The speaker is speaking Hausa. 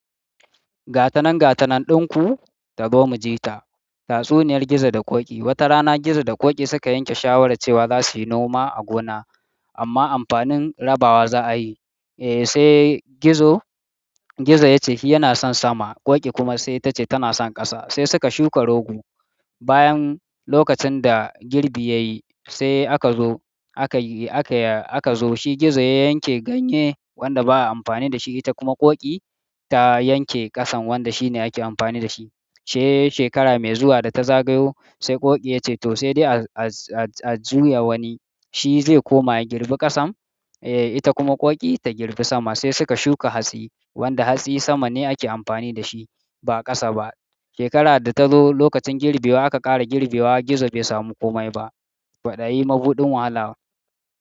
Gatanan gatanan ɗinku tazo mu ji ta. Tatsuniyar Gizo da Ƙoƙi. Wata rana Gizo da Ƙoƙi suka yanke shawarar cewa za su yi noma a gona amma amfanin rabawa za a yi. Eh sai Gizo, Gizo ya ce yana son sama, Ƙoƙi kuma sai ta ce tana son ƙasa. Sai suka shuka rogo. Bayan lokacin da girbi ya yi sai aka zo aka yi aka zo shi Gizo ya yanke ganye wanda ba a amfani da shi, ita kuma Ƙoƙi ta yanke ƙasan wanda shi ne ake amfani da shi. Sai shekara mai zuwa da ta zagayo sai Ƙoƙi ya ce to sai dai a-a-a-a juya wani shi zai koma ya girbi kasan eh ita kuma ƙoƙi ta girbi saman sai suka shuka hatsi wanda hatsi sama ne ake amfani da shi ba ƙasa ba. Shekarar da ta zo lokacin girbewa aka ƙara girbewa gizo bai samu kome ba ƙwaɗayi mabuɗin wahala.